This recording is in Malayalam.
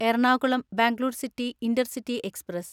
Ernakulam Bangalore city intercity express